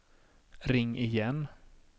ring igen